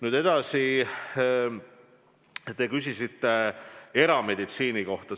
Nüüd edasi, te küsisite erameditsiini kohta.